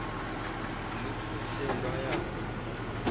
luphuhle lwaya kuma